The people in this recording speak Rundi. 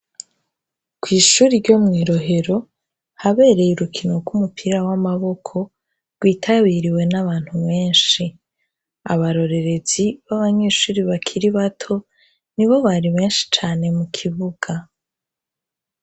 Kw'ishuri ryo mw'irohero habereye urukino rw'umupira w'amaboko rwitabiriwe n'abantu menshi abarorerezi b'abanyishuri bakiri bato ni bo bari benshi cane mu kibuga.